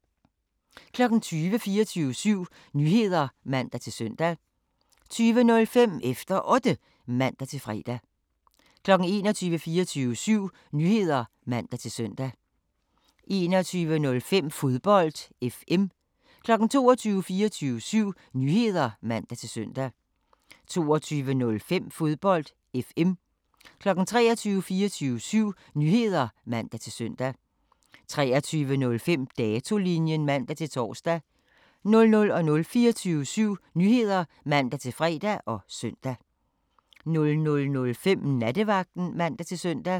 20:00: 24syv Nyheder (man-søn) 20:05: Efter Otte (man-fre) 21:00: 24syv Nyheder (man-søn) 21:05: Fodbold FM 22:00: 24syv Nyheder (man-søn) 22:05: Fodbold FM 23:00: 24syv Nyheder (man-søn) 23:05: Datolinjen (man-tor) 00:00: 24syv Nyheder (man-fre og søn) 00:05: Nattevagten (man-søn)